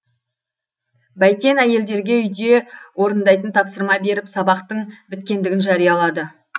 бәйтен әйелдерге үйде орындайтын тапсырма беріп сабақтың біткендігін жариялады